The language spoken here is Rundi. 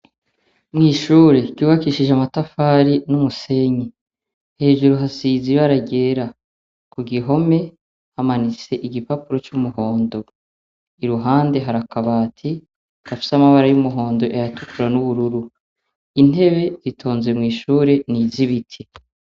Mwishure ryibakishije amatafari numusenyi, hejuru hasize ibara ryera kugihome hamanitse igipapuro cumuhondo, iruhande hari akabati kagise amabara yumuhondo, ayatukura nubururu, intebe zitonze mwishure nizibiti.